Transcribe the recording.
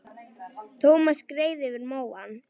Thomas skreið yfir móann.